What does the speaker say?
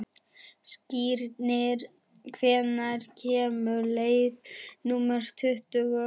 Skírnir, hvenær kemur leið númer tuttugu?